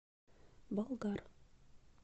болгар